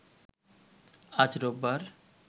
আজ রোববার